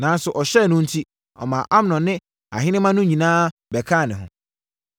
Nanso, ɔhyɛɛ no enti, ɔmaa Amnon ne ahenemma no nyinaa bɛkaa ne ho.